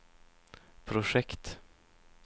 projekt